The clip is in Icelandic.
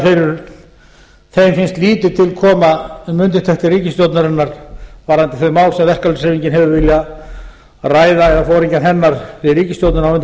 þeim finnst lítið til koma um undirtektir ríkisstjórnarinnar varðandi þau mál sem verkalýðshreyfingin hefur viljað ræða eða foringjar hennar við ríkisstjórnina